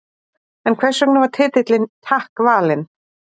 En hvers vegna var titillinn Takk valinn?